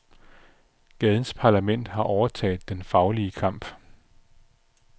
Gadens parlament har overtaget den faglige kamp.